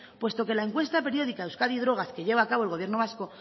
puesto que la encuesta periódica euskadi y drogas que lleva a cabo el gobierno vasco